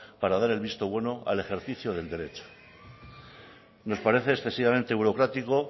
para dar el visto bueno al ejercicio del derecho nos parece excesivamente burocrático